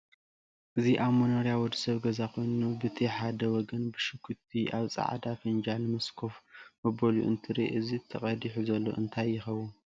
እዚ ኣብ መንርያ ወደሰብ ገዛ ኮይኑ ብቲ ሓደ ወገን ብሽኩቲ ኣብ ፃዕዳ ፍንጃል ምስ ከፍ መብልኡ እንትርኢ እዚ ተቀዲሑ ዘሎ እንታይ የከውን?